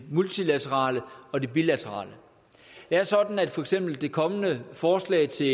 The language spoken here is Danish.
multilaterale og det bilaterale det er sådan at for eksempel det kommende forslag til